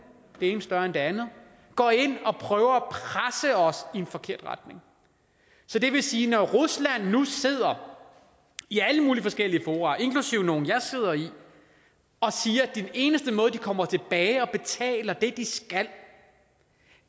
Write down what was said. det ene større end det andet går ind og prøver at presse os i en forkert retning så det vil sige at når rusland nu sidder i alle mulige forskellige fora inklusive nogle jeg sidder i og siger at den eneste måde hvorpå de kommer tilbage og betaler det de skal